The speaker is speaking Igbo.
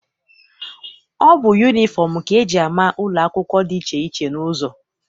Ọ bụ yunifọm ka eji ama ụlọ akwụkwọ dị iche iche n'ụzọ.